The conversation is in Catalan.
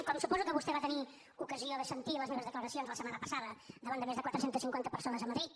com suposo que vostè va tenir ocasió de sentir les meves declaracions la setmana passada davant de més de quatre cents i cinquanta persones a madrid